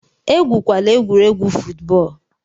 Egwukwala egwuregwu fụtbọọlu!